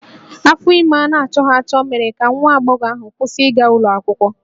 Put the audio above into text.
Afọ ime a na-achọghị achọ mere ka nwa agbọghọ ahụ kwụsị ịga ụlọ akwụkwọ